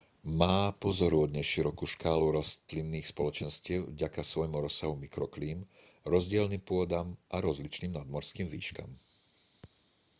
má pozoruhodne širokú škálu rastlinných spoločenstiev vďaka svojmu rozsahu mikroklím rozdielnym pôdam a rozličným nadmorským výškam